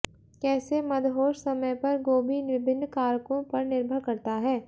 कैसे मदहोश समय पर गोभी विभिन्न कारकों पर निर्भर करता है